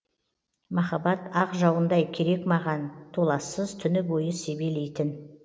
маһаббат ақ жауындай керек маған толассыз түні бойы себелейтін